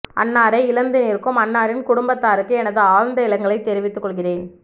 அன்னாரை இழந்து நிற்கும் அன்னாரின் குடும்பத்தாருக்கு எனது ஆழ்ந்த இரங்கலை தெரிவித்துக்கொள்கிறேன்